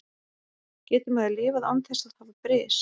Getur maður lifað án þess að hafa bris?